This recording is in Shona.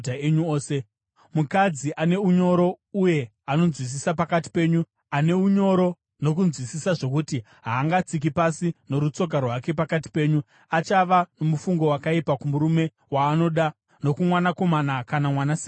Mukadzi ane unyoro uye anonzwisisa pakati penyu, ane unyoro nokunzwisisa zvokuti haangatsiki pasi norutsoka rwake pakati penyu, achava nomufungo wakaipa kumurume waanoda nokumwanakomana kana mwanasikana wake